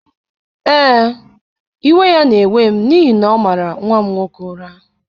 Ee, iwe ya na-ewe m n’ihi na ọ mara nwa m nwoke ụra.